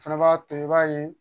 O fɛnɛ b'a to i b'a ye